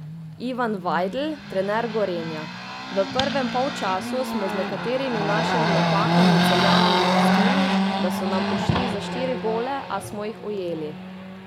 Ivan Vajdl, trener Gorenja: 'V prvem polčasu smo z nekaterimi našimi napakami Celjanom dopustili, da so nam ušli za štiri gole, a smo jih ujeli.